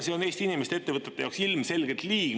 See on Eesti inimeste ja ettevõtete jaoks ilmselgelt liig.